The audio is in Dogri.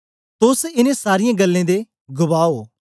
तोस इनें सारीयें गल्लें दे गवाह ओ